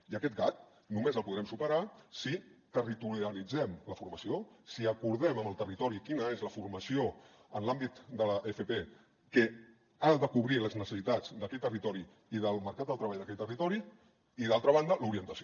i aquest gap només el podrem superar si territorialitzem la formació si acordem amb el territori quina és la formació en l’àmbit de l’fp que ha de cobrir les necessitats d’aquest territori i del mercat del treball d’aquest territori i d’altra banda l’orientació